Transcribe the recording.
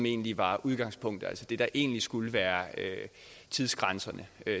egentlig var udgangspunktet altså det der egentlig skulle være tidsgrænsen